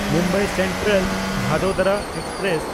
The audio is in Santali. ᱢᱩᱢᱵᱟᱭ ᱥᱮᱱᱴᱨᱟᱞ–ᱵᱷᱟᱫᱳᱫᱚᱨᱟ ᱮᱠᱥᱯᱨᱮᱥ